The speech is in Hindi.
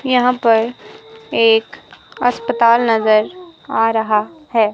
यहां पर एक अस्पताल नज़र आ रहा है।